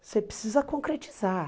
Você precisa concretizar.